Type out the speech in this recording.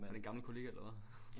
Var det en gammel kollega eller hvad?